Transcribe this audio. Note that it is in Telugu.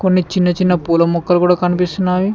కొన్ని చిన్న చిన్న పూల మొక్కలు కూడా కనిపిస్తున్నావి.